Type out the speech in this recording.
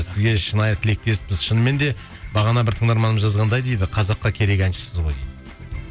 сізге шынайы тілектеспіз шынымен де бағана бір тыңдарманымыз жазғандай дейді қазаққа керек әншісіз ғой дейді